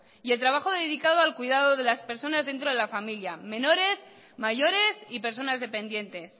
y el trabajo dedicado al cuidado de las personas dentro de la familia menores mayores y personas dependientes